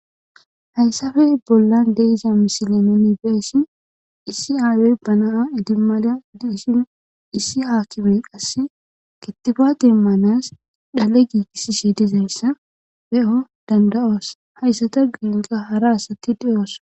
hayssafe bollan de'iza misilen nibeessi issi aayey banaa idimala diishin issi haakibe qasse gittiba deemmanas dhale giigisi she dizayssa be7o danda7oos hayssata gelqa hara asatti deyoosa